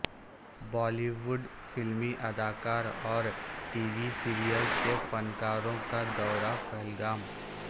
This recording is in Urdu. بالی ووڈ فلمی ادکار اور ٹی وی سریلزکے فنکار وں کا دورہ پہلگام